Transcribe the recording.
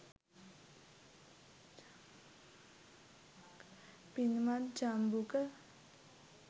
පින්වත් ජම්බුක,